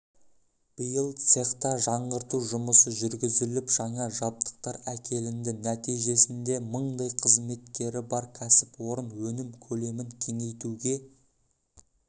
биыл цехта жаңғырту жұмысы жүргізіліп жаңа жабдықтар әкелінді нәтижесінде мыңдай қызметкері бар кәсіпорын өнім көлемін кеңейтуге